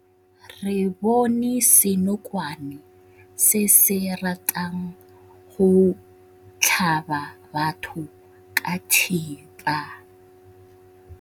Re bone senokwane se se ratang go tlhaba batho ka thipa.